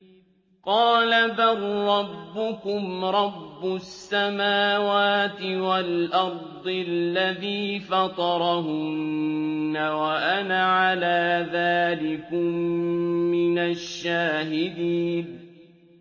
قَالَ بَل رَّبُّكُمْ رَبُّ السَّمَاوَاتِ وَالْأَرْضِ الَّذِي فَطَرَهُنَّ وَأَنَا عَلَىٰ ذَٰلِكُم مِّنَ الشَّاهِدِينَ